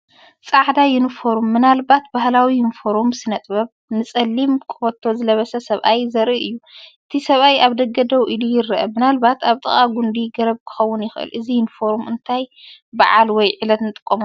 ጻዕዳ ዩኒፎርም (ምናልባት ባህላዊ ዩኒፎርም ስነ-ጥበብ)ን ጸሊም ቀበቶን ዝለበሰ ሰብኣይ ዘርኢ እዩ። እቲ ሰብኣይ ኣብ ደገ ደው ኢሉ ይረአ፡ ምናልባት ኣብ ጥቓ ጕንዲ ገረብ ክኸውን ይኽእል። እዚ ዩኒፎርም ንእንታይ በዓል ወይ ዕለት ንጥቀመሉ?